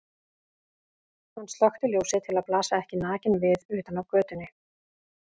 Hann slökkti ljósið til að blasa ekki nakinn við utan af götunni.